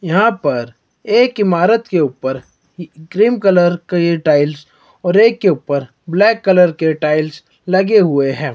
यहां पर एक इमारत के ऊपर क्रीम कलर के ये टाइल्स और एक के ऊपर ब्लैक कलर के टाइल्स लगे हुए हैं।